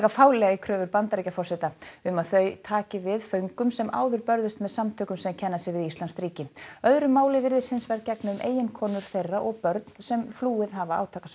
fálega í kröfur Bandaríkjaforseta um að þau taki við föngum sem áður börðust með samtökunum sem kenna sig við íslamskt ríki öðru máli virðist hins vegar gegna um eiginkonur þeirra og börn sem flúið hafa